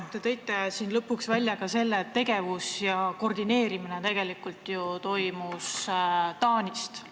Te tõite lõpuks välja ka selle, et tegevuse koordineerimine tegelikult ju toimus Taanist.